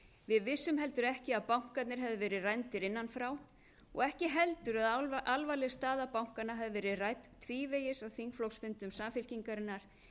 við vissum heldur ekki að bankarnir hefðu verið rændir innan frá og ekki heldur að alvarleg staða bankanna hefði verið rædd tvívegis í þingflokksfundum samfylkingarinnar